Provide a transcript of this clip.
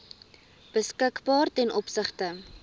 beskikbaar ten opsigte